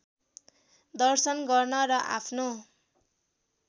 दर्शन गर्न र आफ्नो